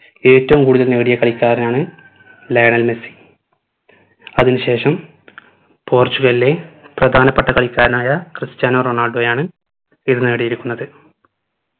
ഏറ്റവും കൂടുതൽ നേടിയ കളിക്കാരനാണ് ലയണൽ മെസ്സി അതിന് ശേഷം പോർചുഗലിലെ പ്രധാനപ്പെട്ട കളിക്കാരനായ ക്രിസ്ത്യാനോ റൊണാൾഡോയാണ് ഇത് നേടിയിരിക്കുന്നത്